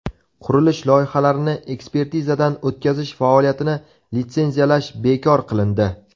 Qurilish loyihalarini ekspertizadan o‘tkazish faoliyatini litsenziyalash bekor qilindi.